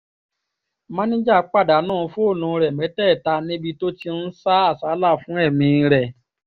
máníjà pàdánù fóònù rẹ̀ mẹ́tẹ̀ẹ̀ta níbi tó ti ń sá àsálà fún ẹ̀mí ẹ̀